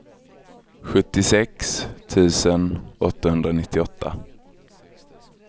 sjuttiosex tusen åttahundranittioåtta